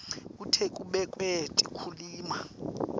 kute kubekwe tekulima